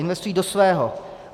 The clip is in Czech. Investují do svého.